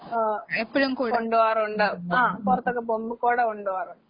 ആഹ് കൊണ്ടുപോകാറൊണ്ട് ആഹ് പൊറത്തൊക്കെ പോവുമ്പ കൊട കൊണ്ടോവാറൊണ്ട്.